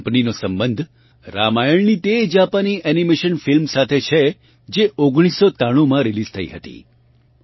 આ કંપનીનો સંબંધ રામાયણની તે જાપાની એનિમેશન ફિલ્મ સાથે છે જે 1993 માં રિલીઝ થઇ હતી